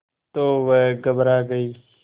तो वह घबरा गई